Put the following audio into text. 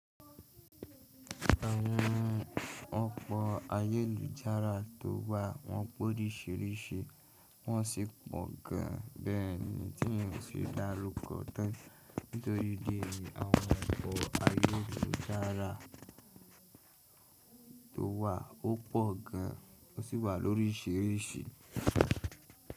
Àwọn ọkọ̀ ayelùjára tó wà wọ́n pọ̀ oríṣiríṣi wọ́n sì pọ̀ gan an bẹ́ẹ̀ ni tí èèyàn fi dárúkọ tán nítorí idí èyí àwọn ọkọ̀ ayọ́lùjára tó wà ó pọ̀ gan an ó sì wà lóríṣiríṣi.